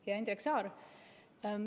Hea Indrek Saar!